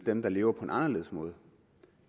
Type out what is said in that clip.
dem der lever på en anderledes måde